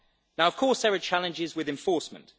Now there are, of course, challenges with enforcement.